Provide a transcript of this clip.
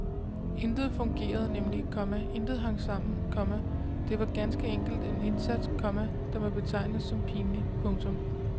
Intet fungerede nemlig, komma intet hang sammen, komma det var ganske enkelt en indsats, komma der må betegnes som pinlig. punktum